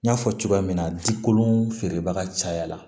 N y'a fɔ cogoya min na dikolon feerebaga cayara